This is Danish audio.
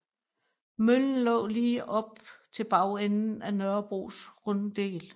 Møllen lå lige op til bagenden af Nørrebros Runddel